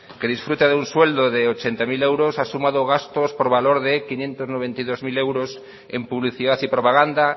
que disfruta de un sueldo de ochenta mil euros ha sumado gastos por valor de quinientos noventa y dos mil euros en publicidad y propaganda